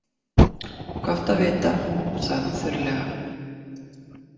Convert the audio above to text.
Gott að vita, sagði hann þurrlega.